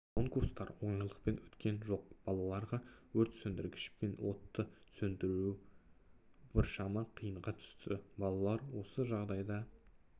конкурстар оңайлықпен өткен жоқ балаларға өрт сөндіргішпен отты сөндіру біршама қиынға түсті балалар осы жағдайда